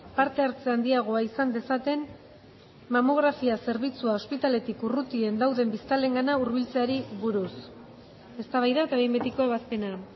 parte hartze handiagoa izan dezaten mamografia zerbitzua ospitaleetatik urrutien dauden biztanleengana hurbiltzeari buruz eztabaida eta behin betiko ebazpena